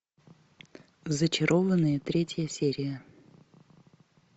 зачарованные третья серия